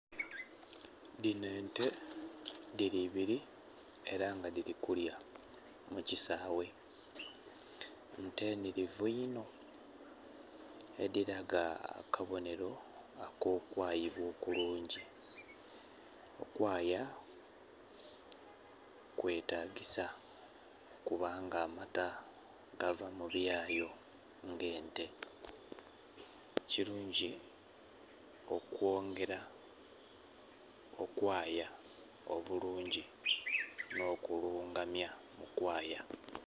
Dhino ente dhili ibili ela nga dhili kulya mu kisaawe. Nte nhilivu inho, edhilaga akabonhelo ak'okwayibwa okulungi. Okwaaya kwetagisa kubanga amata gava mu byayo ng'ente. Kilungi okwongela okwaaya obulungi nh'okulungamya okwaaya.